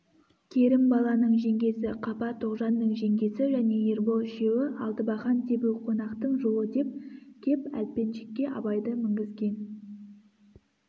керімбаланың жеңгесі қапа тоғжанның жеңгесі және ербол үшеуі алтыбақан тебу қонақтың жолы деп кеп әлпеншекке абайды мінгізген